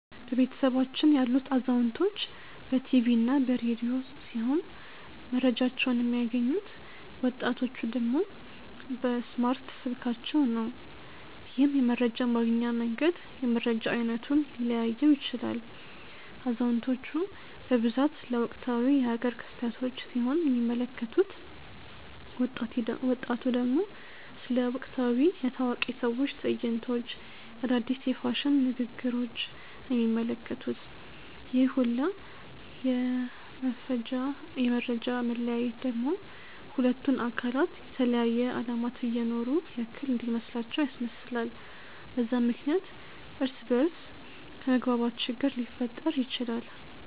በቤተሰባችን ያሉት አዛውንቶች በ ቲቪ እና በ ረዲዮ ሲሆም መረጃቸውን የሚያገኙት፤ ወጣቲቹ ደግሞ በእስማርት ስልካቸው ነው። ይህም የመረጃ ማግኛ መንገድ የመረጃ አይነቱን ሊለያየው ይችላል። አዛውንቲቹ በብዛት ስለ ወቅታዊ የ ሃገር ክስተቶች ሲሆን የሚመለከቱት፤ ወጣቱ ደግሞ ስለ ወቅታዊ የ ታዋቂ ሰዎች ትዕይንቶች፣ አዳዲስ የ ፋሽን ንግግሪች ነው የሚመለከቱት፤ ይህ ሁላ የ መፈጃ መለያየት ደግሞ ሁለቱን አካላት የተለያየ አለማት እየኖሩ ያክል እንዲመስላቸው ያስመስላል፤ በዛም ምክንያት እርስ በ እርስ ከመግባባት ችግር ሊፈጠር ይችላል።